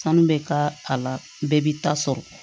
Sanu bɛ k'a la bɛɛ b'i ta sɔrɔ